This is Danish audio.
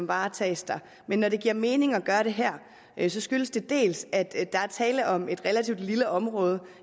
varetaget men når det giver mening at gøre det her skyldes det dels at der er tale om et relativt lille område